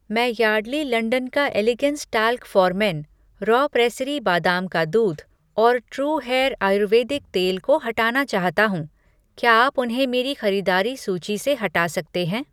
मैं Yardley London का elegance talc for men, raw pressery बादाम का दूध और ट्रू हेयर आयुर्वेदिक तेल को हटाना चाहता हूँ, क्या आप उन्हें मेरी खरीदारी सूची से हटा सकते हैं?